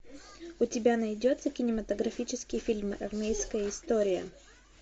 у тебя найдется кинематографический фильм армейская история